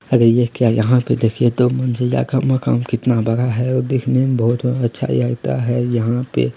अरे ये क्या यहां पे देखिए दो मंजिला का मकान कितना बड़ा है और देखने मे बहुत अच्छा लगता है यहां पे।